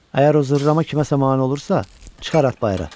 Əgər o zırrama kiməsə mane olursa, çıxar at bayıra.